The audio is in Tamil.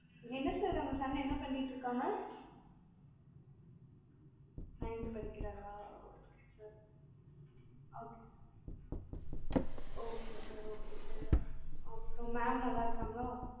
என்ன sir உங்க son என்ன பண்ணிட்டு இருக்காங்க? nineth படிக்கிறாரா? சரி okay sir okay sir mam நல்லாருக்காங்களா?